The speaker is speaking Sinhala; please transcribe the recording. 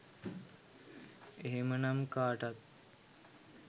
එහෙමනම් කාටත්